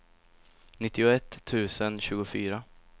nittioett tusen tjugofyra